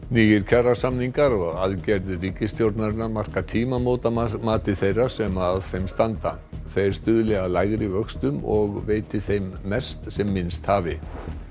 nýir kjarasamningar og aðgerðir ríkisstjórnarinnar marka tímamót að mati þeirra sem að þeim standa þeir stuðli að lægri vöxtum og veiti þeim mest sem minnst hafi